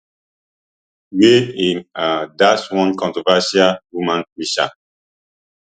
wey im um dash one controversial woman preacher